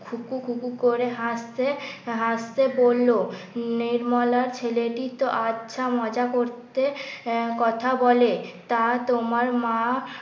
খু খু খু খু করে হাসছে হাসছে বললো নির্মলা ছেলেটি তো আচ্ছা মজা করতে কথা বলে তা তোমার মা